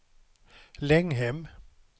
Länghem